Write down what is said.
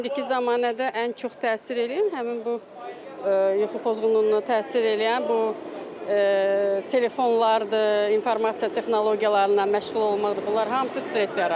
İndiki zamanədə ən çox təsir eləyən həmin bu yuxu pozğunluğuna təsir eləyən bu telefonlardır, informasiya texnologiyalarından məşğul olmaqdır, bunlar hamısı stress yaradır.